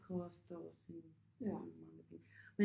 Det koster en mange mange penge